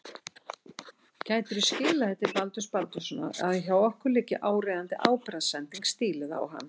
Gætirðu skilað því til Baldurs Baldurssonar að hjá okkur liggi áríðandi ábyrgðarsending stíluð á hann.